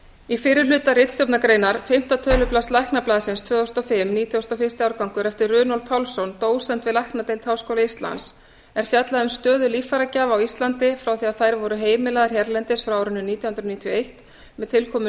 í fyrri hluta ritstjórnargreinar fimmta tölublaðs læknablaðsins tvö þúsund og fimm nítugasta og fyrsta árgangi eftir runólf pálsson dósent við læknadeild háskóla íslands er fjallað um stöðu líffæragjafa á íslandi frá því að þær voru heimilaðar hérlendis frá árinu nítján hundruð níutíu og eitt með tilkomu